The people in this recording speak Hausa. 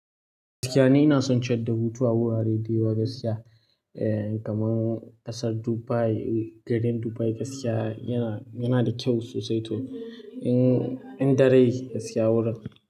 Gaskiya ne ina son ciyar da hutu a wurare da yawa gaskiya. E, kamar ƙasar Dubai, garin Dubai gaskiya yana, yana da kyau sosai to in, in da rai gaskiya wurin.